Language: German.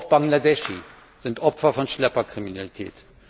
Auch Bangladescher sind Opfer von Schlepperkriminalität.